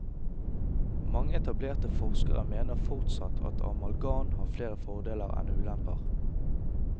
Mange etablerte forskere mener fortsatt at amalgam har flere fordeler enn ulemper.